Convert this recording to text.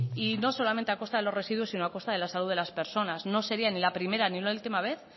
y no solamente a costa de los residuos sino a costa de la salud de las personas no sería ni la primera ni una última vez